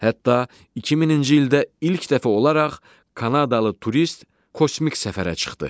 Hətta 2000-ci ildə ilk dəfə olaraq Kanadalı turist kosmik səfərə çıxdı.